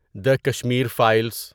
the Kashmir Files